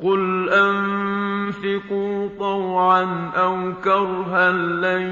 قُلْ أَنفِقُوا طَوْعًا أَوْ كَرْهًا لَّن